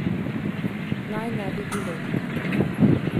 Naj ne bi bilo ...